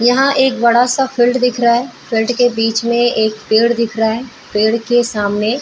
यहाँ एक बड़ा सा फील्ड दिख रहा है फील्ड के बीच में एक पेड़ दिख रहा है पेड़ के सामने --